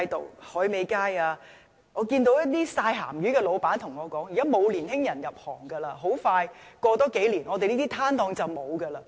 在海味街，有一些曬鹹魚的老闆跟我說，現在沒有年輕人入行，再過數年，這些攤檔很快便會消失。